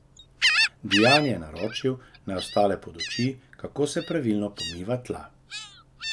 Dijani je naročil, naj ostale poduči, kako se pravilno pomiva tla.